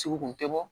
Sogo kun tɛ bɔ